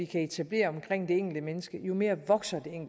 kan etablere omkring det enkelte menneske jo mere vokser